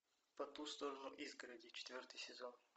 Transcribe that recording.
по ту сторону изгороди четвертый сезон